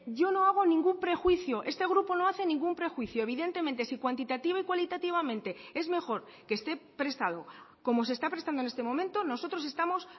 yo no hago ningún prejuicio este grupo no hace ningún prejuicio evidentemente si cuantitativa y cualitativamente es mejor que esté prestado como se está prestando en este momento nosotros estamos